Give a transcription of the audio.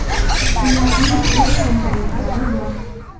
Ularning o‘z samolyotlari bor.